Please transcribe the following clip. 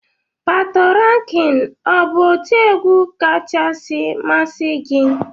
Patoranking ọ bụ otiegwu kachasị masị gi?